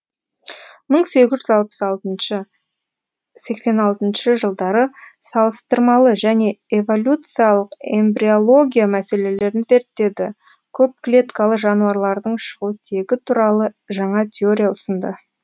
мың сегіз жүз алпыс алтыншы сексен алтыншы жылдары салыстырмалы және эволюциялық эмбриология мәселелерін зерттеді көп клеткалы жануарлардың шығу тегі туралы жаңа теория ұсынды